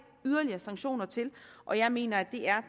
sanktioner til og jeg mener at det er